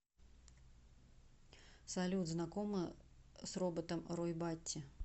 салют знакома с роботом рой батти